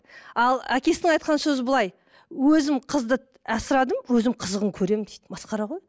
ал әкесінің айтқан сөзі былай өзім қызды асырадым өзім қызығын көремін дейді масқара ғой